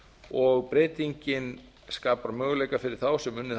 og breytingin skapar möguleika fyrir þá sem unnið hafa sem